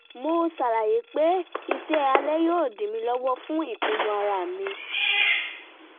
mo ṣàlàyé pé iṣẹ́ alẹ́ yóò dí mi lọ́wọ́ fún ìpinnu ara mi